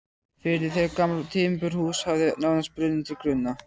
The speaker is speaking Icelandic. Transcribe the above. firði þegar gamalt timburhús hafði nánast brunnið til grunna.